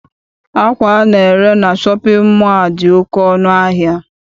Akwa ana-ere na shọpịn mọọ a dị oké ọnụ ahịa.